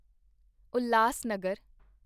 Ulhasnagar